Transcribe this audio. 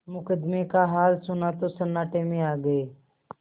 मुकदमे का हाल सुना तो सन्नाटे में आ गये